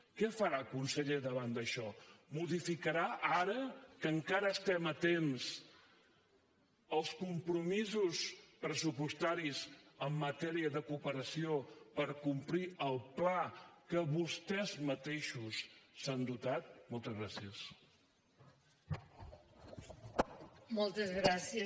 què farà conseller davant d’això modificarà ara que encara estem a temps els compromisos pressupostaris en matèria de cooperació per complir el pla que vostès mateixos s’han dotat moltes gràcies